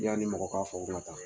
I'ani mɔgɔ k' fɔ u bɛna taa